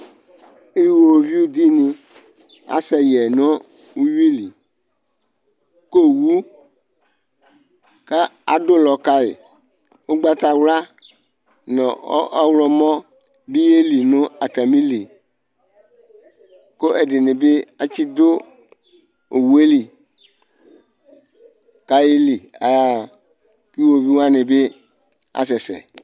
Iwoviuɖini, asɛ yɛ nʋ uwuiliK'owu, k'aɖʋlɔ kayi ʋgbatawlua nʋ ɔɣlɔmɔ bi y'elii n'atamili Kʋ ɛɖinibi atsiɖʋ owueli k'ayeli k'ayaɣa k'iwoviu wanibi asɛsɛ